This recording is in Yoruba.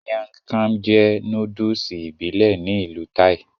Miang kham jẹ́ nóódùsì ìbílẹ̀ ní ìlú Thai